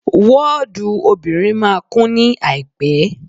Wọ́ọ̀dù obìnrin máa kún ní àìpẹ́.